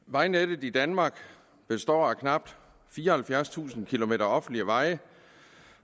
vejnettet i danmark består af knap fireoghalvfjerdstusind km offentlige veje